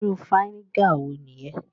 Iru fínégà wo nìyẹn?